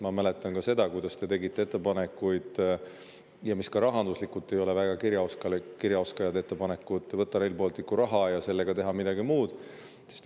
Ma mäletan ka seda, kui te tegite ettepanekuid – ka rahanduslikult ei olnud need väga hea kirjaoskusega tehtud ettepanekud – võtta Rail Balticu raha ja teha sellega midagi muud.